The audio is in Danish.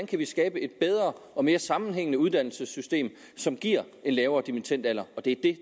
kan skabe et bedre og mere sammenhængende uddannelsessystem som giver en lavere dimittendalder og det